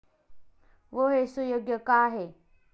व हे सुयोग्य का आहे?